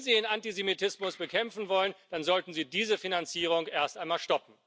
Wenn Sie den Antisemitismus bekämpfen wollen, dann sollten Sie diese Finanzierung erst einmal stoppen.